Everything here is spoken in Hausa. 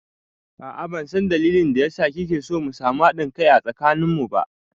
A'a ban san dalilin da ya sa kike so mu samu haɗin kai a tsakanin mu ba